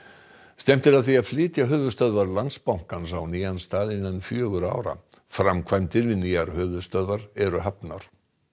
stefnt er að því að flytja höfuðstöðvar Landsbankans á nýjan stað innan fjögurra ára framkvæmdir við nýjar höfuðstöðvar eru hafnar